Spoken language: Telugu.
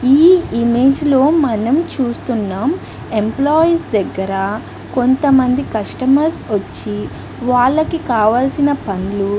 ఈ ఇమేజ్ లో మనం చూస్తునాం ఎంప్లాయిస్ దగ్గర కొంతమంది కస్టమర్స్ వచ్చి వాళ్లకి కావలసిన పనులు --